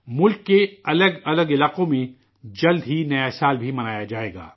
ملک کے مختلف علاقوں میں جلد ہی نیا سال بھی منایا جائے گا